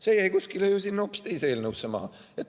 See jäi ju kuskile sinna hoopis teise eelnõusse maha.